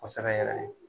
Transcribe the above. Kosɛbɛ yɛrɛ